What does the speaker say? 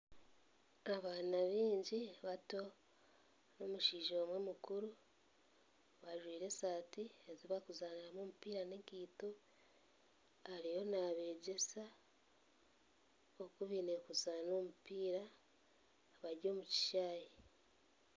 Abaana baingi bato n'omushaija omwe mukuru, bajwaire esaati ezi bakuzaaniramu omupiira n'ekaito ariyo nabegyesa oku baine kuzaana omupiira, bari omu kishaayi.